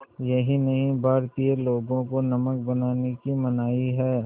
यही नहीं भारतीय लोगों को नमक बनाने की मनाही है